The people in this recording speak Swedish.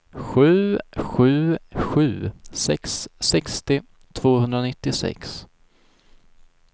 sju sju sju sex sextio tvåhundranittiosex